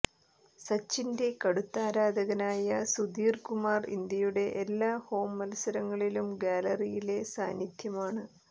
സച്ചിന്റെ കടുത്ത ആരാധകനായ സുധീർ കുമാർ ഇന്ത്യയുടെ എല്ലാ ഹോം മത്സരങ്ങളിലും ഗാലറിയിലെ സാന്നിധ്യമാണ്